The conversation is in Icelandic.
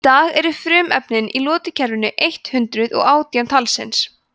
í dag eru frumefnin í lotukerfinu eitt hundruð og átján talsins